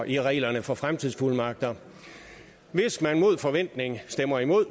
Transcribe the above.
i reglerne for fremtidsfuldmagter hvis man mod forventning stemmer imod